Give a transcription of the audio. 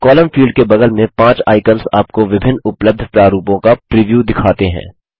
column field के बगल में पाँच आइकन्स आपको विभिन्न उपलब्ध प्रारूपों का प्रिव्यू दिखाते हैं